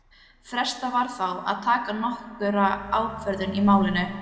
Frestað var þá að taka nokkra ákvörðun í málinu.